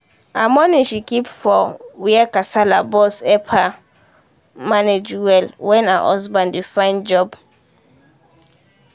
her money she keep for when kasala burst help her manage well when her husband dey find job. find job.